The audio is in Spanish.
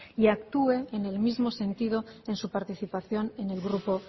y actúe en el mismo sentido en su participación en el grupo